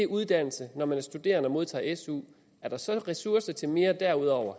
uddannelsen når man er studerende og modtager su er der så ressourcer til mere derudover